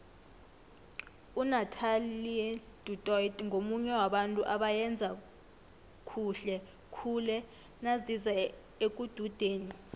unathelie du toit ngomunye wabantu abayenza khuhle khule naziza ekududeni